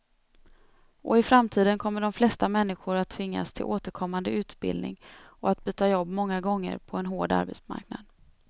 Och i framtiden kommer de flesta människor att tvingas till återkommande utbildning och att byta jobb många gånger på en hård arbetsmarknad.